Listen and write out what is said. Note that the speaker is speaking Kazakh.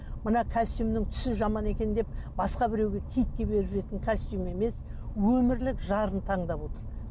мына костюмнің түсі жаман екен деп басқа біреуге китке беріп жіберетін костюм емес өмірлік жарын таңдап отыр